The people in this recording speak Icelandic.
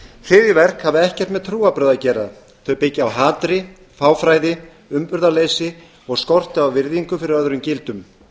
hryðjuverk hafa ekkert með trúarbrögð að gera þau byggja á hatri fáfræði umburðarleysi og skorti á virðingu fyrir öðrum gildum